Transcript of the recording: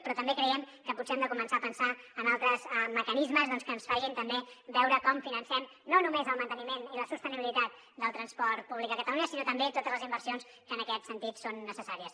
però també creiem que potser hem de començar a pensar en altres mecanismes doncs que ens facin també veure com financem no només el manteniment i la sostenibilitat del transport públic a catalunya sinó també totes les inversions que en aquest sentit són necessàries